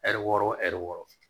Ɛri wɔɔrɔ wo ɛri wɔɔrɔ